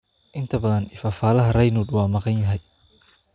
Inta badan, ifafaalaha Raynaud waa maqan yahay.